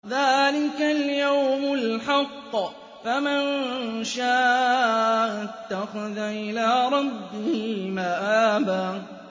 ذَٰلِكَ الْيَوْمُ الْحَقُّ ۖ فَمَن شَاءَ اتَّخَذَ إِلَىٰ رَبِّهِ مَآبًا